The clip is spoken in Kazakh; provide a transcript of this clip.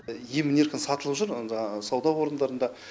емін еркін сатылып жүр онда сауда орындарында